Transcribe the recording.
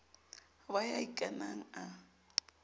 ho ba ya ikanang a